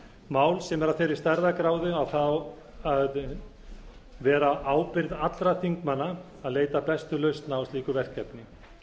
mál sem er af þeirri stærðargráðu að það á að vera ábyrgð allra þingmanna að leita að bestu lausn á slíku verkefni